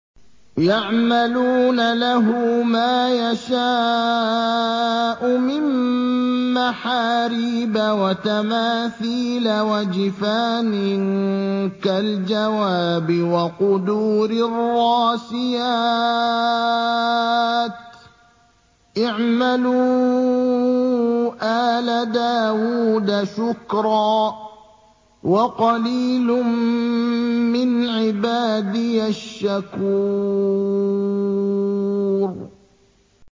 يَعْمَلُونَ لَهُ مَا يَشَاءُ مِن مَّحَارِيبَ وَتَمَاثِيلَ وَجِفَانٍ كَالْجَوَابِ وَقُدُورٍ رَّاسِيَاتٍ ۚ اعْمَلُوا آلَ دَاوُودَ شُكْرًا ۚ وَقَلِيلٌ مِّنْ عِبَادِيَ الشَّكُورُ